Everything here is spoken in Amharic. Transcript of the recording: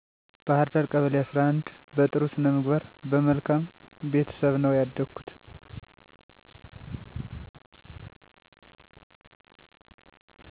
ባህርዳ ቀበሌ11 በጥሩ ስነምግባር በመልካም ቤተሰብ ነው ያደኩት